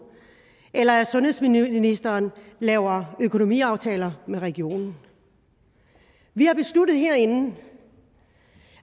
eller at sundhedsministeren laver økonomiaftaler med regionerne vi har besluttet herinde